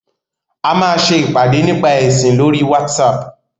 A máa ṣe ìpàdé nípa ẹ̀sìn lóri WhatsApp.